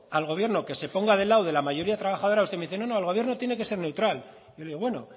al gobierno que se ponga del lado de la mayoría trabajadora usted me dice no no el gobierno tiene que ser neutral yo le digo bueno